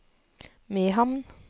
Mehamn